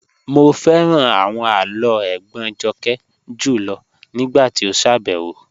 Mo fẹ́ran awọn àlọ́ ègbón Jọ́kẹ́ júlọ̀ nígbàtí o ṣábẹwo